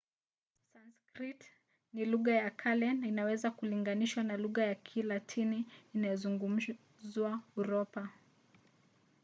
sanskrit ni lugha ya kale na inaweza kulinganishwa na lugha ya kilatini inayozungumzwa uropa